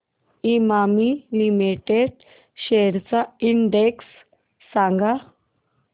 Emami limited shares चा index सांगा